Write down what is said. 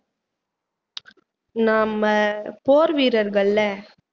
நம்ம போர் வீரர்கள்ல